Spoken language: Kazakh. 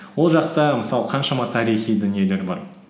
ол жақта мысалы қаншама тарихи дүниелер бар